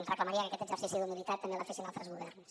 reclamaria que aquest exercici d’humilitat també el fessin altres governs